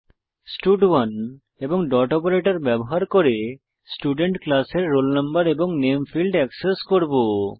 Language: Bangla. স্টাড1 এবং ডট অপারেটর ব্যবহার করে স্টুডেন্ট ক্লাসের রোল নো এবং নামে ফীল্ড এক্সেস করব